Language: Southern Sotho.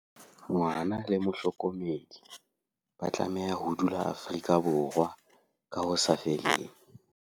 Ngwana le mohlokomedi ba tlameha ho dula Afrika Borwa ka ho sa feleng.